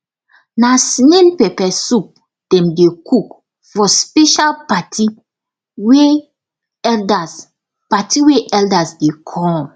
na snail pepper soup dem dey cook for special party wey elders party wey elders dey come